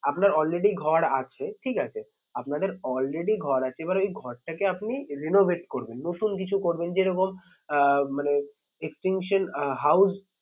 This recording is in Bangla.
আপনার already ঘর আছে ঠিক আছে। আপনাদের already ঘর আছে এবার ওই ঘরটাকে আপনি renovate করবেন নতুন কিছু করবেন যেরকম আহ মানে extension আহ house